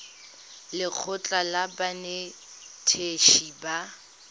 le lekgotlha la banetetshi ba